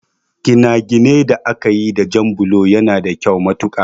Ginaginai da akayi da jan bulo yana da kyau matuƙa